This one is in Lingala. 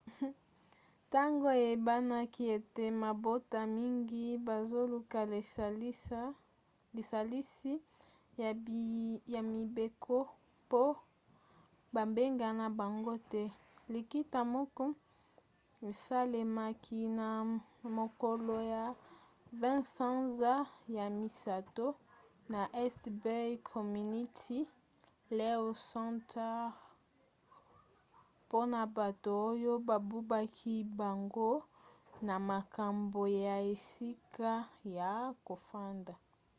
ntango eyebanaki ete mabota mingi bazoluka lisalisi ya mibeko po babengana bango te likita moko esalemaki na mokolo ya 20 sanza ya misato na east bay community law center mpona bato oyo babubaki bango na makambo ya esika ya kofanda